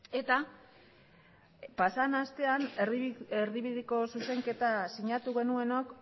ezta eta pasadan astean erdibideko zuzenketa sinatu genuenok